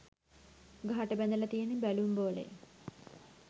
ගහට බැඳලා තියෙන බැලුම් බෝලය